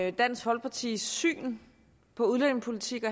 og dansk folkepartis syn på udlændingepolitik